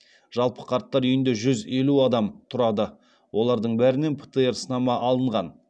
жалпы қарттар үйінде жүз елу адам тұрады олардың бәрінен птр сынама алынған